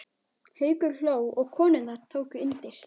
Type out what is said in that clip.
Haukur hló og konurnar tóku undir.